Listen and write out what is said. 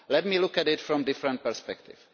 Let me look at it from a different perspective.